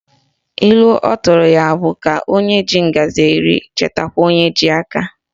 Ilu ọtụrụ ya abụ ka o ji ngaji eri chetakwa onye ji aka?